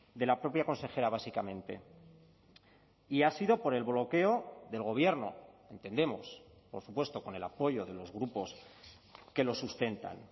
de la propia consejera básicamente y ha sido por el bloqueo del gobierno entendemos por supuesto con el apoyo de los grupos que lo sustentan